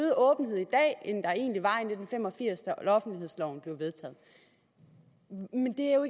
at end der egentlig var i nitten fem og firs da offentlighedsloven blev vedtaget men det er jo